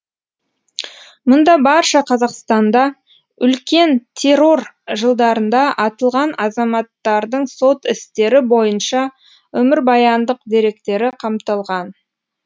мұнда барша қазақстанда үлкен террор жылдарында атылған азаматтардың сот істері бойынша өмірбаяндық деректері қамтылған